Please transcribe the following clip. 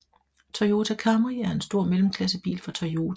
Toyota Camry er en stor mellemklassebil fra Toyota